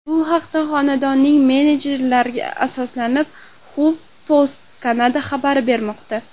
Bu haqda xonandaning menejerlariga asoslanib, HuffPost Canada xabar bermoqda .